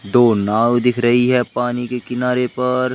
दो नाव दिख रही है पानी के किनारे पर--